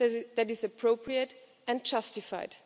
that is appropriate and justified.